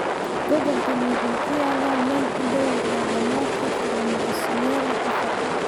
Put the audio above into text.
Gobolkani wuxuu ku yaalaa meel u dhow hal dhamaadka koromosoomyada afar